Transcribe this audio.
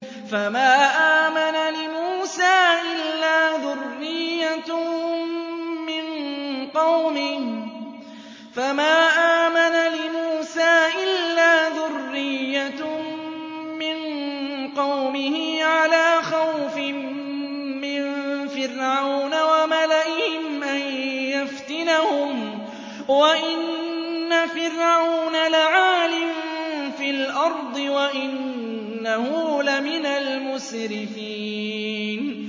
فَمَا آمَنَ لِمُوسَىٰ إِلَّا ذُرِّيَّةٌ مِّن قَوْمِهِ عَلَىٰ خَوْفٍ مِّن فِرْعَوْنَ وَمَلَئِهِمْ أَن يَفْتِنَهُمْ ۚ وَإِنَّ فِرْعَوْنَ لَعَالٍ فِي الْأَرْضِ وَإِنَّهُ لَمِنَ الْمُسْرِفِينَ